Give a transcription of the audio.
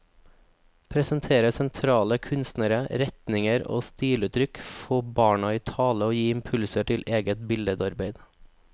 Presentere sentrale kunstnere, retninger og stiluttrykk, få barna i tale og gi impulser til eget billedarbeid.